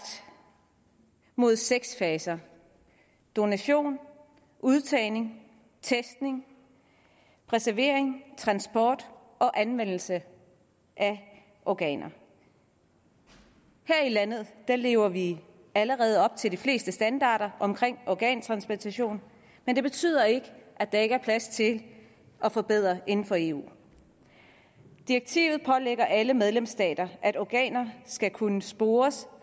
mod seks faser donation udtagning testning reservering transport og anvendelse af organer her i landet lever vi allerede op til de fleste standarder for organtransplantation men det betyder ikke at der ikke er plads til at forbedre det inden for eu direktivet pålægger alle medlemsstater at organer skal kunne spores